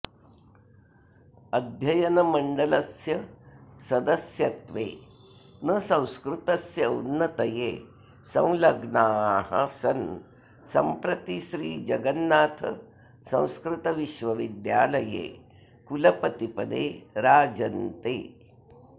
अध्ययनमण्डलस्यसदस्यत्वेन संस्कृतस्योन्नतये संलग्नाः सन् सम्प्रति श्री जगन्नाथ संस्कृत विश्वविद्यालये कुलपतिपदे राजन्ते